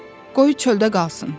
Qoy çöldə qalsın.